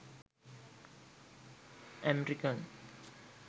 amirican